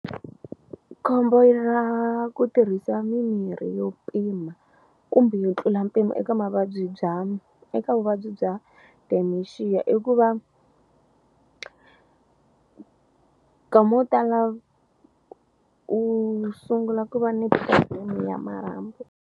Khombo i ra ku tirhisa mirhi yo pima kumbe yo tlula mpimo eka mavabyi bya eka vuvabyi bya dementia i ku va nkama wo tala u sungula ku va ni problem ya marhambu.